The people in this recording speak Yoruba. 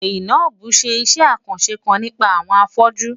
Zainab ń ṣe iṣẹ́ àkànṣe kan nípa àwọn afọ́jú.